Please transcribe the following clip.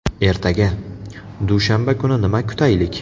Ertaga, dushanba kuni nima kutaylik?